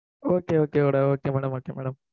okay okay madam okay madam okay madam